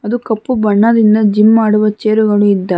ಮತ್ತು ಕಪ್ಪು ಬಣ್ಣದಿಂದ ಜಿಮ್ ಮಾಡುವ ಚೇರು ಗಳು ಇದ್ದಾವೆ.